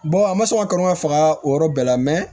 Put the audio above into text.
an ma sɔn ka kalo faga o yɔrɔ bɛɛ la